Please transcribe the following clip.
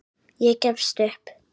Ég gefst upp